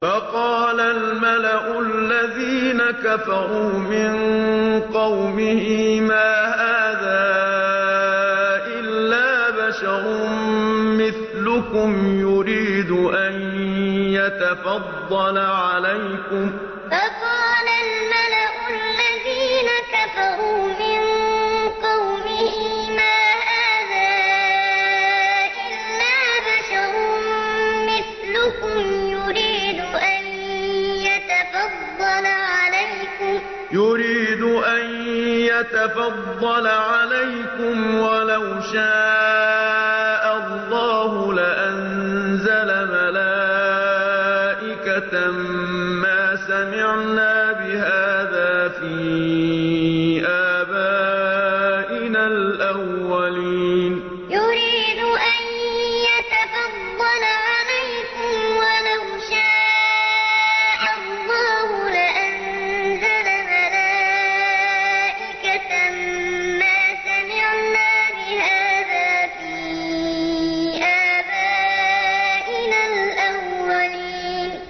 فَقَالَ الْمَلَأُ الَّذِينَ كَفَرُوا مِن قَوْمِهِ مَا هَٰذَا إِلَّا بَشَرٌ مِّثْلُكُمْ يُرِيدُ أَن يَتَفَضَّلَ عَلَيْكُمْ وَلَوْ شَاءَ اللَّهُ لَأَنزَلَ مَلَائِكَةً مَّا سَمِعْنَا بِهَٰذَا فِي آبَائِنَا الْأَوَّلِينَ فَقَالَ الْمَلَأُ الَّذِينَ كَفَرُوا مِن قَوْمِهِ مَا هَٰذَا إِلَّا بَشَرٌ مِّثْلُكُمْ يُرِيدُ أَن يَتَفَضَّلَ عَلَيْكُمْ وَلَوْ شَاءَ اللَّهُ لَأَنزَلَ مَلَائِكَةً مَّا سَمِعْنَا بِهَٰذَا فِي آبَائِنَا الْأَوَّلِينَ